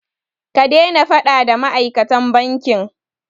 Ka daina faɗa da ma'aikatan bankin!